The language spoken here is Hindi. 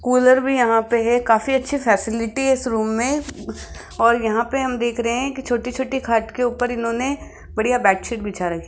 कूलर भी यहां पे है काफी अच्छी फैसिलिटी इस रूम में और यहां पर हम देख रहे हैं की छोटी-छोटी खाट के ऊपर इन्होंने बढ़िया बेडशीट बिछा र --